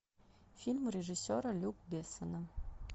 фильм режиссера люка бессона